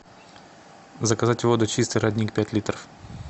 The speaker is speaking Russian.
заказать воду чистый родник пять литров